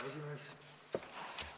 Härra esimees!